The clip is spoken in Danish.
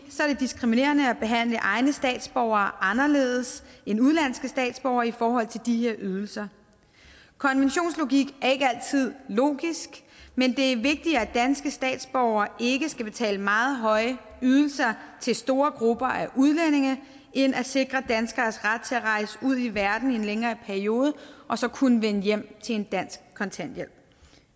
er det diskriminerende at behandle egne statsborgere anderledes end udenlandske statsborgere i forhold til de her ydelser konventionslogik er ikke altid logisk men det er vigtigere at danske statsborgere ikke skal betale meget høje ydelser til store grupper af udlændinge end at sikre danskeres ret til at rejse ud i verden i en længere periode og så kunne vende hjem til en dansk kontanthjælp